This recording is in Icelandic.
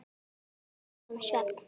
En hvað um svefn?